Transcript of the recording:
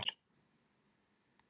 Hvar er þurrís notaður?